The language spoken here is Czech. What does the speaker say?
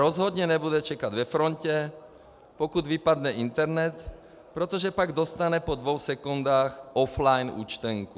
Rozhodně nebude čekat ve frontě pokud vypadne internet, protože pak dostane po dvou sekundách offline účtenku.